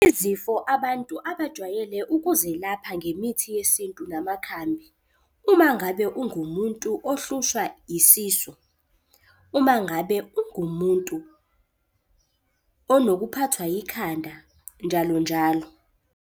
Izifo abantu abajwayele ukuzelapha ngemithi yesintu namakhambi. Uma ngabe ungumuntu ohlushwa isisu, uma ngabe ungumuntu onokuphathwa yikhanda, njalo njalo.